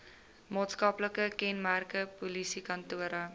maatskaplike kenmerke polisiekantore